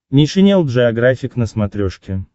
нейшенел джеографик на смотрешке